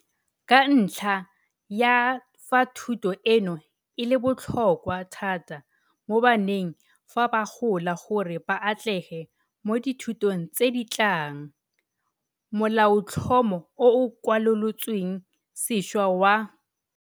Ka ntlha ya fa thuto eno e le botlhokwa thata mo baneng fa ba gola gore ba atlege mo dithutong tse di tlang, Molaotlhomo o o Kwalolotsweng Sešwa wa